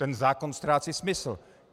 Ten zákon ztrácí smysl.